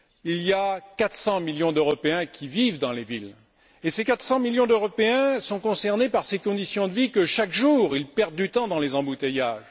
Il y a 400 millions d'Européens qui vivent dans les villes, et ces 400 millions d'Européens sont concernés par ces conditions de vie qui font que chaque jour, ils perdent du temps dans les embouteillages.